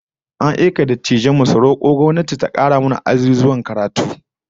An aika wasu dattijan mu su roko gwamnati ta kara mana azuzuwan karatu